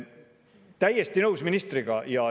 Olen ministriga täiesti nõus.